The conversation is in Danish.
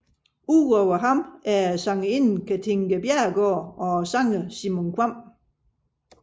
Udover ham er det sangerinden Katinka Bjerregaard og sangeren Simon Kvamm